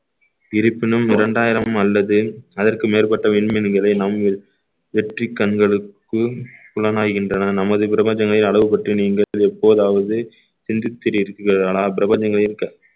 இருப்பினும் இரண்டாயிரம் அல்லது அதற்கு மேற்பட்ட விண்மீன்களை நம்மில் வெற்றிக் கண்களுக்கு புலனாய்கின்றன நமது பிரபஞ்சங்களின் அளவு பற்றி நீங்கள் எப்போதாவது சிந்தித்து இருக்கிறீர்களானால் பிரபஞ்சங்களின் க~